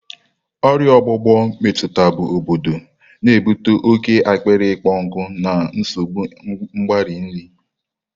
Ọrịa ọgbụgbọ ọgbụgbọ emetụtabu obodo, na-ebute oke akpịrị ịkpọ nkụ na nsogbu mgbari nri.